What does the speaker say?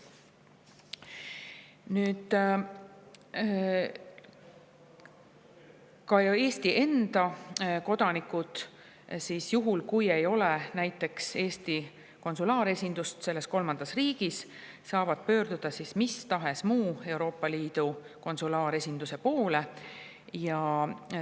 Nüüd saavad ka Eesti kodanikud juhul, kui mõnes kolmandas riigis ole Eesti konsulaaresindust, pöörduda mis tahes muu Euroopa Liidu konsulaaresinduse poole.